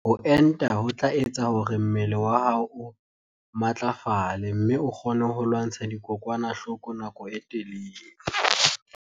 Ho enta ho tla etsa hore mmele wa hao o matlafale mme o kgone ho lwantsha dikokwanahloko nako e telele.